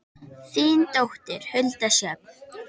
Þín dóttir, Hulda Sjöfn.